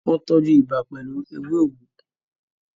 wọ́n tọ́jú ibà pẹ̀lú “ewé òwú”